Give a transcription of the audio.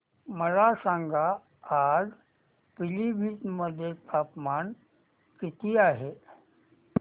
मला सांगा आज पिलीभीत मध्ये तापमान किती आहे